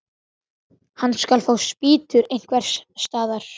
Hann skal fá spýtur einhvers staðar.